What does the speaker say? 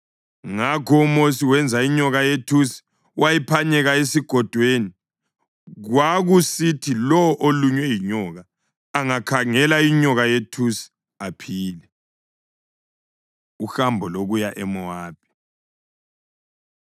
Ngakho uMosi wenza inyoka yethusi wayiphanyeka esigodweni. Kwakusithi lowo olunywe yinyoka angakhangela inyoka yethusi aphile. Uhambo Lokuya EMowabi